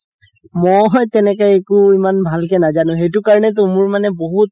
মই তেনেকে একো ইমান ভালকে নাজানো সেইটো কাৰণেটো মোৰ মানে বহুত